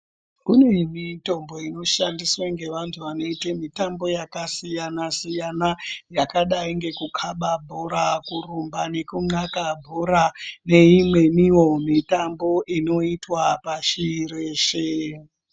Kune mitombo inoshandiswe ngevantu vanoite mitambo yakasiyana-siyana, yakadai ngekukhaba bhora, kurumba, nekunxaka bhora ,neimweniwo mitambo inoitwa pashi reshe.